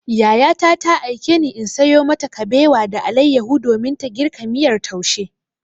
Yayata ta aikeni in sayo mata kabewa da alayyahu domin ta girka miyar taushe.